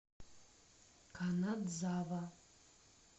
канадзава